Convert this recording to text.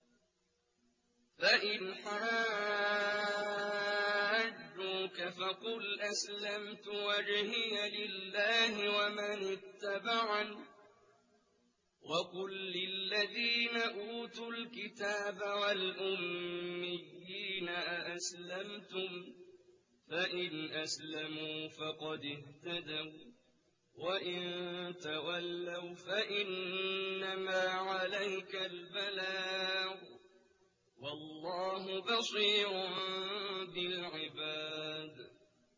فَإِنْ حَاجُّوكَ فَقُلْ أَسْلَمْتُ وَجْهِيَ لِلَّهِ وَمَنِ اتَّبَعَنِ ۗ وَقُل لِّلَّذِينَ أُوتُوا الْكِتَابَ وَالْأُمِّيِّينَ أَأَسْلَمْتُمْ ۚ فَإِنْ أَسْلَمُوا فَقَدِ اهْتَدَوا ۖ وَّإِن تَوَلَّوْا فَإِنَّمَا عَلَيْكَ الْبَلَاغُ ۗ وَاللَّهُ بَصِيرٌ بِالْعِبَادِ